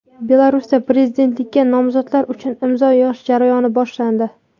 Belarusda prezidentlikka nomzodlar uchun imzo yig‘ish jarayoni boshlandi.